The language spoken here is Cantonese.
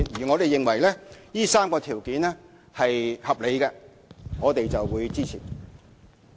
我們認為，上述3項條件是合理的，我們會予以支持。